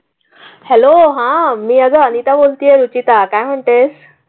Hello हां मी अग अनिता बोलते आहे रुचिता काय म्हणते?